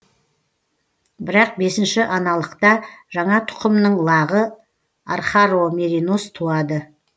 бірақ бесінші аналықта жаңа тұқымның лағы архаромеринос туады